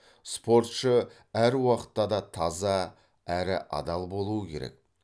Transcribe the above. спортшы әр уақытта да таза әрі адал болуы керек